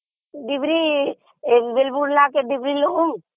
ଡ଼ିବିରି...